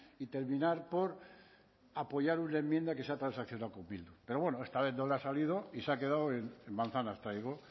y terminar por apoyar una enmienda que se ha transaccionado con bildu pero bueno esta vez no le ha salido y se ha quedado en manzanas traigo